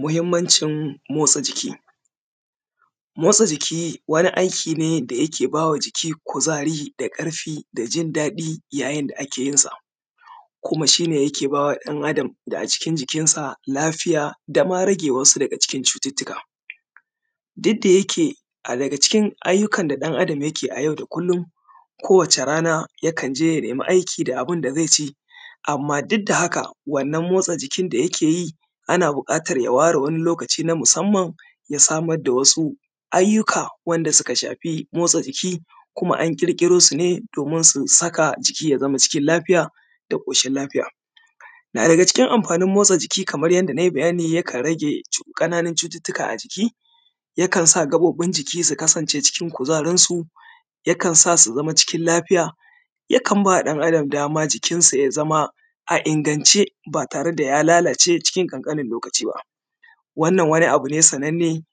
Muhimancin motsa jiki motsa jiki wani aiki ne da yake ba wa jiki kuzari da ƙarfi da jin daɗi yayin da ake yin sa kuma shi ne yake ba wa ɗan adam da a cikin jikinsa lafiya, dama rage wasu daga cikin cututtuka. Duk da yake na daga cikin ayyukan da ɗan adam yake a yau da kullum, ko wace rana yakan je ya nemi aikin da abun da ze ci. Amma duk da haka, wannan motsa jikin da yake yi, ana buƙatar ya ware wani lokaci na musamman, ya samar da wasu ayyuka wanda suka shafi mortsa jiki, kuma an ƙirkiro su ne domin su sa jiki ya zama cikin lafiya da ƙoshin lafiya. Na daga cikin amfanin motsa jiki, kamar yadda na yi bayani, ya kan rage ƙananun cututtuka a jiki, ya kan sa gaɓoɓi su kasance cikin kuzarinsu, yakan sa su zama cikin lafiya, yakan ba ɗan adam dama jikinsa ya zama a ingance ba tare da ya lalace a cikin ƙanƙanin lokaci ba. Wannan wani abu ne sananne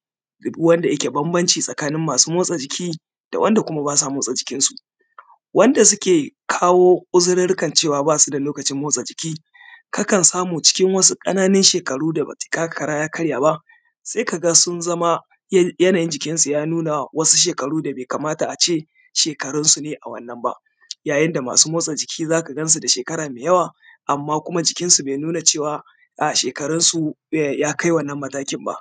wanda yake bambance tsakanin masu motsa jiki da wanda kuma ba sa motsa jikinsu, wanda suke kawo uzurirrikan cewa ba su da lokacin motsa jiki, kakan samu cikin wasu ƙananun shekaru da ba takakara ya karya ba, sai ka ga sun zama yanayin jikinsu ya nuna wasu shekaru da ba ya kamata a ce shekarunsu ne a wannan ba. Yayin da masu motsa jiki, za kan gansu da shekara mai yawa amma kuma jikinsu ba ya nuna cewa shekarunsu ya kai wannan matakin ba.